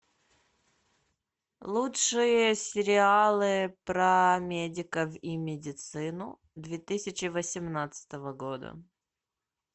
лучшие сериалы про медиков и медицину две тысячи восемнадцатого года